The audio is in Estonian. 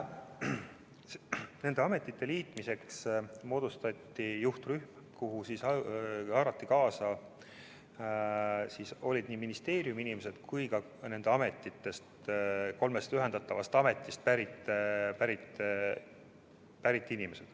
Nende ametite liitmiseks moodustati juhtrühm, kuhu haarati kaasa nii ministeeriumi inimesed kui ka inimesed kolmest ühendatavast ametist.